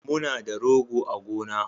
Muna da rogo a gona